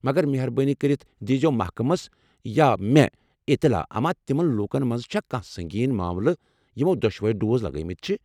مگر مہربٲنی کٔرتھ دیزیو محکمس یا مےٚ اطلاع اما تمن لوٗکن منٛز چھا کانٛہہ سنگین معاملہٕ یمو دۄشوے ڈوز لگٲوِمٕتۍ چھِ ۔